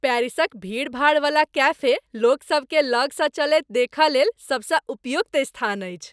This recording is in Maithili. पेरिसक भीड़भाड़वला कैफे लोकसभ केँ लगसँ चलैत देखयलेल सबसँ उपयुक्त स्थान अछि।